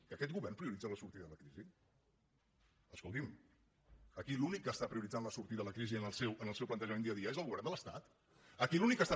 que aquest govern prioritza la sortida de la crisi escolti’m aquí l’únic que està prioritzant la sortida de la crisi en el seu plantejament dia a dia és el govern de l’estat